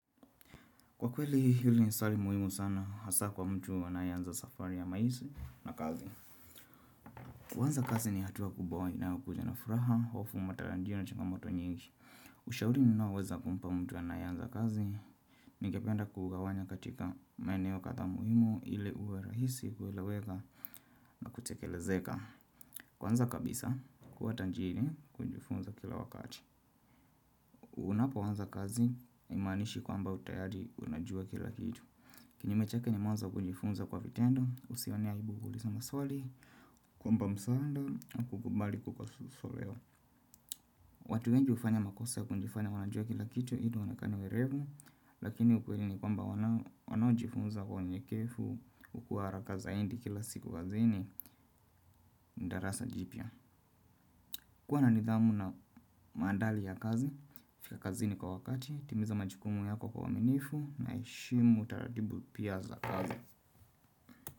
Kwa kweli hili ni swali muhimu sana hasa kwa mtu anayeanza safari ya maisha na kazi. Kwanza kazi ni hatuwa kubawa inayo kuja na furaha hofu matarajio na changamoto nyingi. Ushauri ninaoweza kumpa mtu anayeanza kazi. Ningependa kugawanya katika maeneo kadhaa muhimu ili uwe rahisi kueleweka na kutekelezeka. Kwanza kabisa kuwa tajiri kujifunza kila wakati. Unapo anza kazi haimanishi kwamba tayari unajua kila kitu. Kini mechake ni mwanza kujifunza kwa vitendo, usionia ibukuliza maswali, kwamba msaanda, kukubali kukasusoleo. Watu wengi hufanya makosa ya kujifanya wanajua kila kitu ili waonekana werevu lakini ukweli ni kwamba wanaojifunza huwa nyekevu, hukuwa haraka zaidi kila siku kazini, darasa jipya. Kuwa na nidhamu na maandali ya kazi, fika kazi ni kwa wakati, timiza majikumu yako kwa waminifu, na ishimu utaradibu pia za kazi.